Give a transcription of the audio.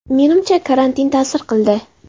Menimcha, karantin ta’sir qildi.